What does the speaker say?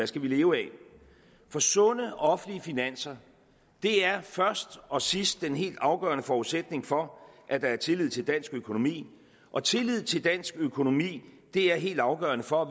skal leve af for sunde offentlige finanser er først og sidst den helt afgørende forudsætning for at der er tillid til dansk økonomi og tillid til dansk økonomi er helt afgørende for at